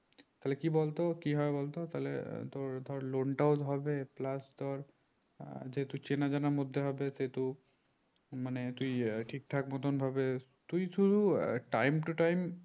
তাহলে কি বল তো কি হবে বল তো তাহলে তোর ধর loan টাও হবে plus তোর যেহেতু চেনা জানার মধ্যে হবে সেহেতু মানে তুই এ ঠিক ঠাক মতন ভাবে তুই শুধু time to time